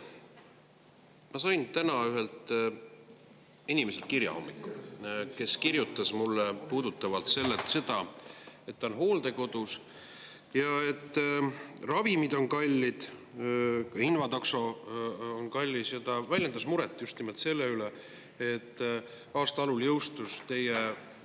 Teate, ma sain täna hommikul kirja ühelt inimeselt, kes kirjutas mulle, et ta on hooldekodus ja et ravimid on kallid, invatakso on kallis, ja ta väljendas muret just nimelt selle üle, et aasta algul jõustus teie